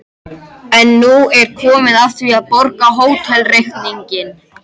En nú er komið að því að borga hótelreikninginn.